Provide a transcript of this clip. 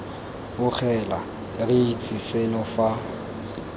bogela re itse seno fa